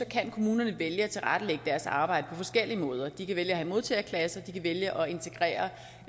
kan kommunerne vælge at tilrettelægge deres arbejde på forskellige måder de kan vælge at have modtagerklasser de kan vælge at integrere